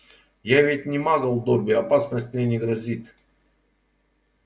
я ведь не магл добби опасность мне не грозит